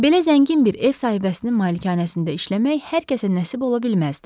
Belə zəngin bir ev sahibəsinin malikanəsində işləmək hər kəsə nəsib ola bilməzdi.